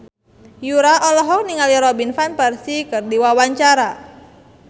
Yura olohok ningali Robin Van Persie keur diwawancara